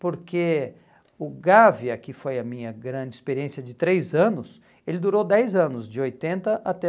Porque o Gávea, que foi a minha grande experiência de três anos, ele durou dez anos, de oitenta até